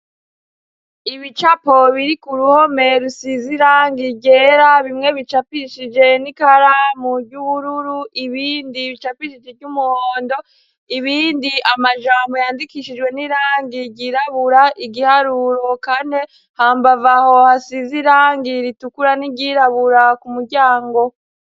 Ibicapo biri ku ruhome rusize irangi ryera bimwe bicapishije n'ikaramu ry'ubururu ibindi bicapishije iryumuhondo, ibindi amajambo yandikishijwe n'irangi ryirabura, igiharuro kane hambavu yaho hasize irangi ritukura n'iryirabura ku muryango.